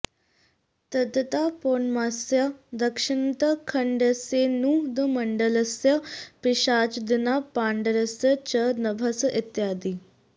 तद्यथा पौर्णमास्यां दक्षिणतः खण्डस्येन्दुमण्डलस्य पिशाचादीनां पाण्डरस्य च नभस इत्यादि